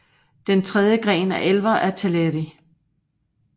Den tredje gren af elvere er Teleri